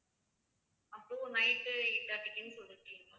அப்போ night eight thirty க்குன்னு சொல்லிருக்கீங்க ma'am